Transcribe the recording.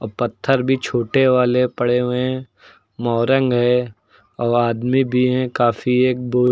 अ पत्थर भी छोटे वाले पड़े हुए हैं। मोरंग है औ आदमी भी हैं काफी। एक बु --